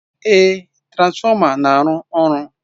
Ee, transformer na-arụ ọrụ.